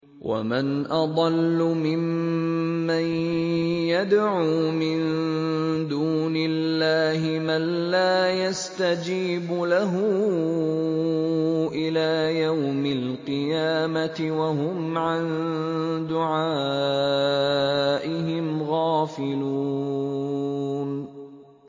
وَمَنْ أَضَلُّ مِمَّن يَدْعُو مِن دُونِ اللَّهِ مَن لَّا يَسْتَجِيبُ لَهُ إِلَىٰ يَوْمِ الْقِيَامَةِ وَهُمْ عَن دُعَائِهِمْ غَافِلُونَ